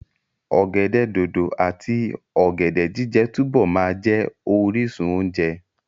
Ọ̀gẹ̀dẹ̀ dòdò àti ọ̀gẹ̀dẹ̀ jíjẹ túbọ̀ máa jẹ́ orísun oúnjẹ.